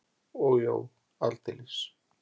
Og jú, aldeilis!